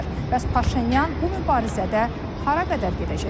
Bəs Paşinyan bu mübarizədə hara qədər gedəcək?